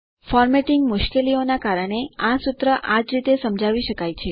formatting મુશ્કેલી ના કારણે આ સૂત્ર આ રીતે જ સમજાવી શકાય છે